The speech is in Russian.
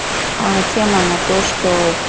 а тема на то что